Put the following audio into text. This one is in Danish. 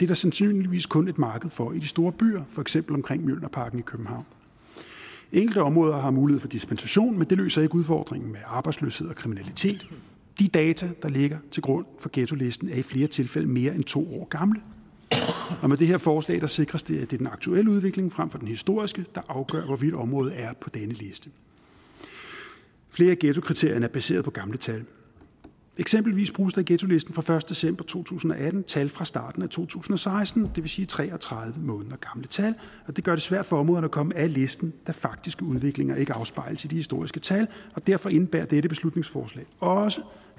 der sandsynligvis kun et marked for i de store byer for eksempel omkring mjølnerparken i københavn enkelte områder har mulighed for dispensation men det løser ikke udfordringen med arbejdsløshed og kriminalitet de data der ligger til grund for ghettolisten er i flere tilfælde mere end to år gamle og med det her forslag sikres det at det er den aktuelle udvikling frem for den historiske der afgør hvorvidt området er på denne liste flere af ghettokriterierne er baseret på gamle tal eksempelvis bruges der i ghettolisten fra første december to tusind og atten tal fra starten af to tusind og seksten det vil sige tre og tredive måneder gamle tal det gør det svært for områderne at komme af listen da faktiske udviklinger ikke afspejles i de historiske tal og derfor indebærer dette beslutningsforslag også